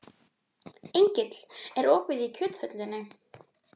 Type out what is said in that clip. Engill, er opið í Kjöthöllinni?